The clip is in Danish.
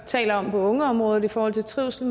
taler om det på ungeområdet i forhold til trivsel